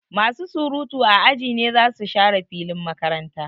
Masu surutu a aji ne zasu share filin makaranta.